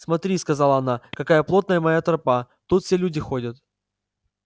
смотри сказала она какая плотная моя тропа тут все люди ходят